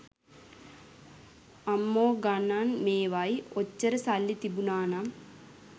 අම්මෝ ගනන් මේවයි ඔච්චර සල්ලි තිබුනානම්